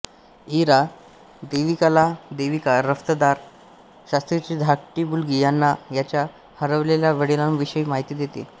इरा देविकाला देविका दफ्तरदार शास्त्रीची धाकटी मुलगी यांना त्यांच्या हरवलेल्या वडिलांविषयी माहिती देते